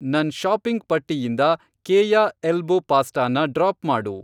ನನ್ ಷಾಪಿಂಗ್ ಪಟ್ಟಿಯಿಂದ ಕೇಯ ಎಲ್ಬೋ ಪಾಸ್ಟಾನ ಡ್ರಾಪ್ ಮಾಡು.